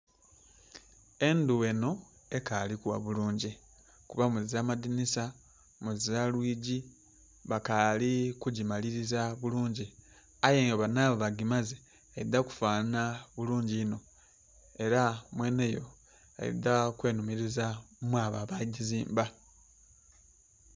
Endhu enho ekali kugha bulungi, kuba muzira madhinisa, muzira lwigii bakali ku gimaliliza bulungi aye bwe banhaba ba gimaze, eidha kufanana bulungi inho era mwenheyo eidha kwenhumiliza mwabo aba gizimba.